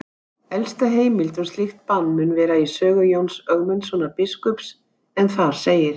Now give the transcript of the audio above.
Elsta heimild um slíkt bann mun vera í sögu Jóns Ögmundssonar biskups en þar segir: